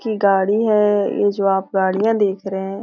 की गाड़ी है ये जो आप गाड़ियां देख रहे हैं।